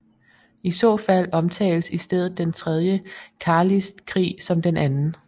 I så fald omtales i stedet den tredje carlistkrig som den anden